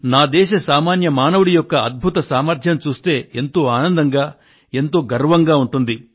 నా దేశ సామాన్య మానవుడి యొక్క అద్భుత సామర్ధ్యాన్ని చూస్తే ఎంతో ఆనందంగా ఎంతో గర్వంగా ఉంటుంది